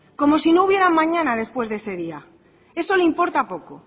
como si no hubiera un mañana después de ese día eso le importa poco